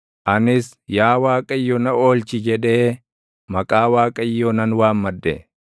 Anis, “Yaa Waaqayyo na oolchi!” jedhee maqaa Waaqayyoo nan waammadhe.